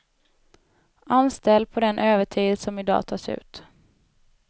Anställ på den övertid som i dag tas ut.